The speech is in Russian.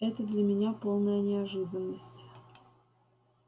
это для меня полная неожиданность